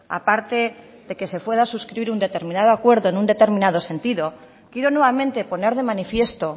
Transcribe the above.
aparte de que se pueda suscribir un determinado acuerdo en un determinado sentido quiero nuevamente poner de manifiesto